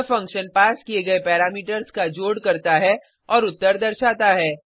यह फंक्शन पास किये गये पैरामीटर्स का जोड़ करता है और उत्तर दर्शाता है